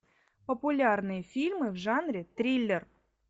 популярные фильмы в жанре триллер